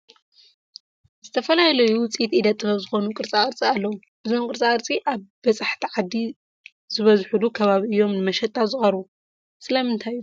ዝተፈላለዩ ውፅኢት ኢደ ጥበብ ዝኾኑ ቅርፃ ቅርፂ ኣለዉ፡፡ እዞም ቅርፃ ቅርፂ ኣብ በፃሕቲ ዓዲ ዝበዝሑሉ ከባቢ እዮም ንመሸጣ ዝቐርቡ፡፡ ስለምንታይ?